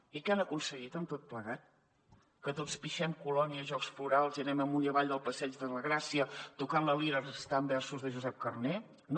i què han aconseguit amb tot plegat que tots pixem colònia i jocs florals i anem amunt i avall del passeig de la gràcia tocant la lira recitant versos de josep carner no